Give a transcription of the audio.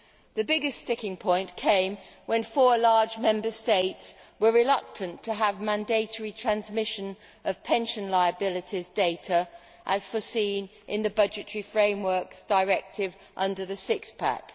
The biggest sticking point came when four large Member States were reluctant to have mandatory transmission of pension liabilities data as provided for in the Budgetary Frameworks Directive under the Six Pack.